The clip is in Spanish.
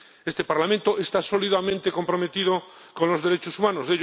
Este Parlamento está sólidamente comprometido con los derechos humanos